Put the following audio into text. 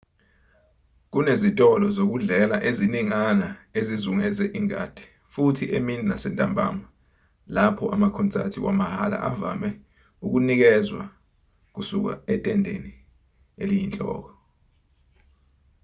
kunezitolo zokudlela eziningana ezizungeze ingadi futhi emini nasentambama lapho amakhonsati wamahhala avame ukunikezwa kusuka etendeni eliyinhloko